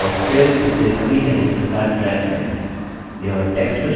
और फिर इसे सभी headings के साथ ड्रैग करें